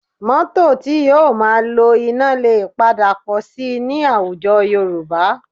Mọ́tò tí yóò máa lo iná lè padà pọ̀ síi ní àwùjọ Yorùbá